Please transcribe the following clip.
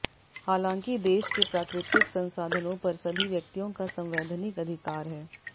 हालांकि देश के प्राकृतिक संसाधनों पर सभी व्यक्तियों का संवैधानिक अधिकार है